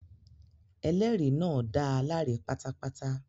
Ẹlẹ́rìí náà dá a láre pátápátá.